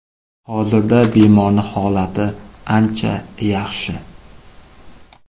Hozirda bemorning holati ancha yaxshi.